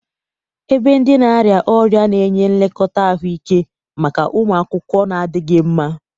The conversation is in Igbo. Ebe ndị na-arịa ọrịa na-enye nlekọta ahụike maka ụmụ akwụkwọ na-adịghị mma.